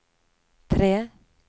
tre